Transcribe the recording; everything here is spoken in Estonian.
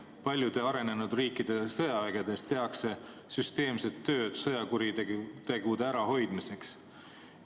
Paljude arenenud riikide sõjavägedes tehakse süsteemset tööd sõjakuritegude ärahoidmiseks.